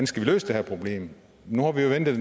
skal løse det her problem nu har vi jo ventet